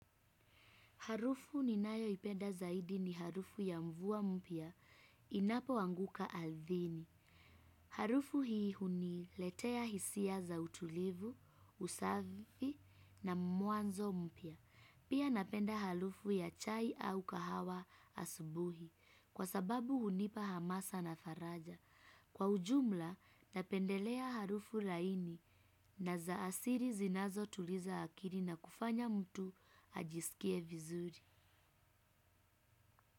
Harufu ninayoipenda zaidi ni harufu ya mvua mpya inapoanguka ardhini. Harufu hii huniletea hisia za utulivu, usafi na mwanzo mpya. Pia napenda harufu ya chai au kahawa asubuhi kwa sababu hunipa hamasa na faraja. Kwa ujumla napendelea harufu laini na za asiri zinazotuliza akiri na kufanya mtu ajisikie vizuri.